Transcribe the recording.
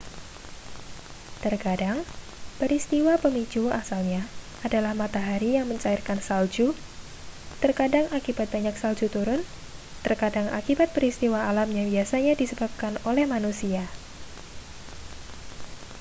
terkadang peristiwa pemicu asalnya adalah matahari yang mencairkan salju terkadang akibat banyak salju turun terkadang akibat peristiwa alam yang biasanya disebabkan oleh manusia